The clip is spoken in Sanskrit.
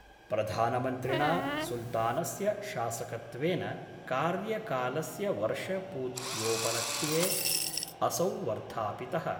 प्रधानमन्त्रिणा सुल्तानस्य शासकत्वेन कार्यकालस्य वर्षपूत्योपलक्ष्ये असौ वर्धापित:।